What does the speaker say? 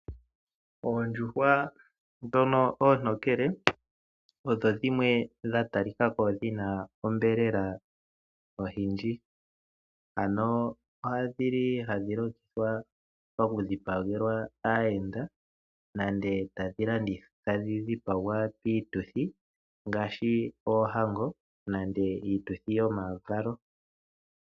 Oondjuhwa ndhono oontokele odho dhimwe dha talika ko dhina onyama oyindji. Ano odhili hadhi longithwa oku dhipagelwa aayenda nenge tadhi dhipagwa piituthi ngaashi oohango nande iituthi yomavalo.